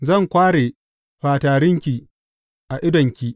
Zan kware fatarinki a idonki.